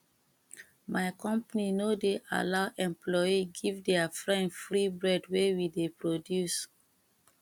my company no dey allow employee give their friend free bread wey we dey produce